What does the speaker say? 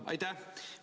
Aitäh!